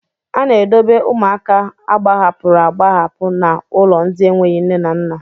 A na-edobe ụmụaka agbahapụrụ agbahapụ na ụlọ ndị enweghị nne na nna.